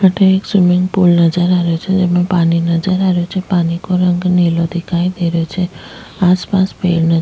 अठे एक swimming pool नजर आ रहियो छे जिमे पानी नजर आ रहे छे पानी को रंग नीलो दिखाई दे रहियो छे आसपास पेड़ न --